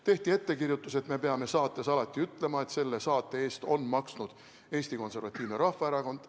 Tehti ettekirjutus, et me peame saates alati ütlema, et selle saate eest on maksnud Eesti Konservatiivne Rahvaerakond.